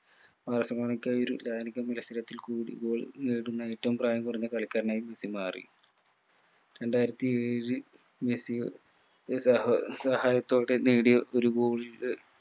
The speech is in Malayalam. ബാഴ്‌സലോണക്കായി ഒരു മത്സരത്തിൽകൂടി goal നേടുന്ന ഏറ്റവും പ്രായം കുറഞ്ഞ കളിരനായി മെസ്സി മാറി രണ്ടായിരത്തി ഏഴ് മെസ്സി അഹ് സഹ സഹായത്തോടെ നേടിയ ഒരു goal ന്റെ